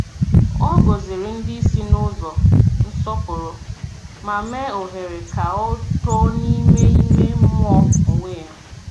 Ọ gọ̀zìrì ndị isi n’ụzọ nsọpụrụ, ma mee ohere ka ọ too n’ime ime mmụọ onwe ya.